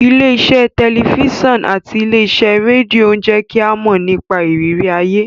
Ilé iṣẹ́ tẹ̀lifísàn àti ilé iṣẹ́ rédíò ń jẹ́ kí a mọ̀ nípa ìrírí ayé